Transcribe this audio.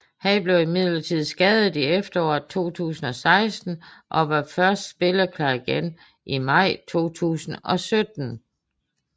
Han blev imidlertid skadet i efteråret 2016 og var først spilleklar igen i maj 2017